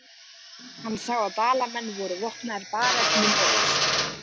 Hann sá að Dalamenn voru vopnaðir bareflum og öxum.